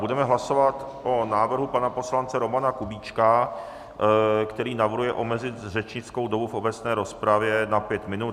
Budeme hlasovat o návrhu pana poslance Romana Kubíčka, který navrhuje omezit řečnickou dobu v obecné rozpravě na pět minut.